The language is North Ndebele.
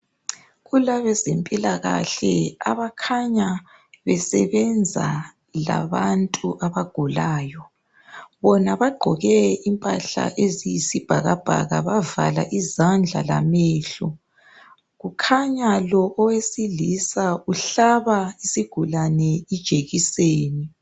kulabezempilakahle abakhanya besebenza labantu abagulayo. Bona bagqoke impahla eziyisibhakabhaka ,bavala izandla lamehlo .kukhanya lo owesilisa uhlaba isigulane ijekiseni.